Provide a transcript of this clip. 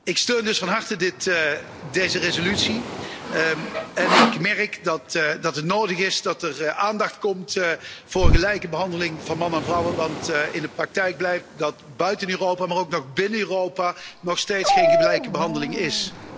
Ik steun dus van harte deze resolutie en ik merk dat het nodig is dat er aandacht komt voor gelijke behandeling van mannen en vrouwen, want in de praktijk blijkt dat er buiten Europa, maar ook nog binnen Europa nog steeds geen gelijke behandeling is.